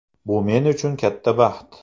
Bu men uchun katta baxt.